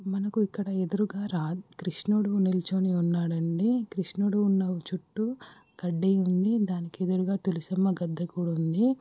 మనకు ఇక్కడ ఎదురుగా కృష్ణుడు నిల్చొని ఉన్నాడండి కృష్ణుడు ఉన్న చుట్టూ కడ్డీ ఉంది దానికి ఎదురుగా తులశమ్మ గద్దె కూడ ఉంది.